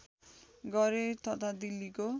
गरे तथा दिल्लीको